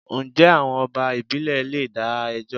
Njẹ́ àwọn ọba ìbílè leè dá ẹjọ́?